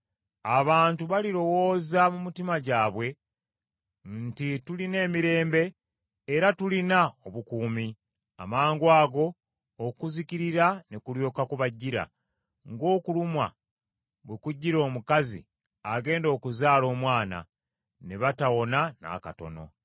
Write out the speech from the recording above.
Abantu balirowooza mu mitima gyabwe nti, “Tulina emirembe era tulina obukuumi,” amangwango okuzikirira ne kulyoka kubajjira, ng’okulumwa bwe kujjira omukazi agenda okuzaala omwana; ne batawona n’akatono.